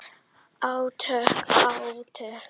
Átök, átök.